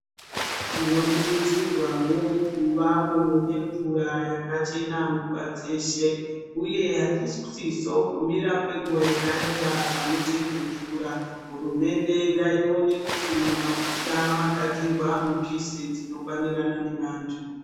Tinokurudzirwavo kuvavo nemvura yakachena nguva dzeshe, uye hatisiso kumira kwenguva yakareba panocherwe mvura. Hurumende ngaione kuti mumabuya magadzirwa mipise dzinokwanirana nevantu.